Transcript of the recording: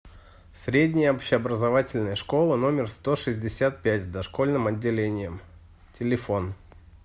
средняя общеобразовательная школа номер сто шестьдесят пять с дошкольным отделением телефон